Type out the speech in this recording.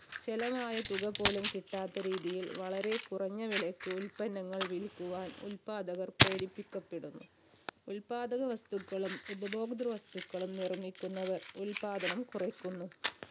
ചിലവായ തുക പോലും കിട്ടാത്ത രീതിയിൽ വളരെ കുറഞ്ഞ വിലയ്ക്ക് ഉത്പന്നങ്ങൾ വിൽക്കുവാൻ ഉത്പാദകർ പ്രേരിപ്പിക്കപ്പെടുന്നു. ഉത്പാദക വസ്തുക്കളും ഉപഭോഗൃത വസ്തുക്കളും നിർമ്മിക്കുന്നവർ ഉത്പാദനം കുറയ്ക്കുന്നു.